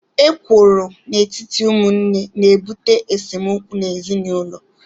Ekworo n'etiti ụmụnne na-ebute esemokwu n'ezinụlọ